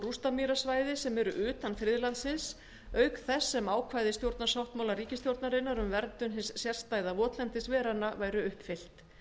rústamýrasvæði sem eru utan friðlandsins auk þess sem ákvæði stjórnarsáttmála núverandi ríkisstjórnar um verndun hins sérstæða votlendis veranna væru uppfyllt